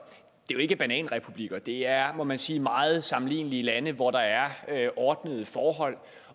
jo ikke bananrepublikker det er må man sige meget sammenlignelige lande hvor der er ordnede forhold